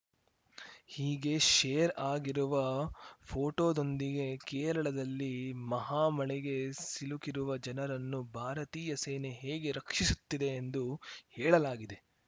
ಹೀಗೆ ಶೇರ್‌ ಆಗಿರುವ ಫೋಟೋದೊಂದಿಗೆ ಕೇರಳದಲ್ಲಿ ಮಹಾಮಳೆಗೆ ಸಿಲುಕಿರುವ ಜನರನ್ನು ಭಾರತೀಯ ಸೇನೆ ಹೇಗೆ ರಕ್ಷಿಸುತ್ತಿದೆ ಎಂದು ಹೇಳಲಾಗಿದೆ